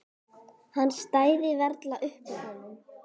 Hann stæði varla upp úr honum.